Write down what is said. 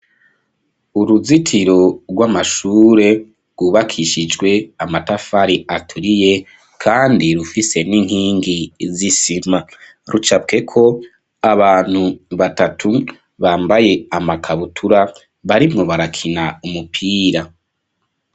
Uruzitiro, rw'amashure, rwubakishijwe amatafari aturiye, kandi, rufise n'inkingi z'isima; rucapweko abantu batatu, bambaye amakabutura, barimwo barakina, umupira.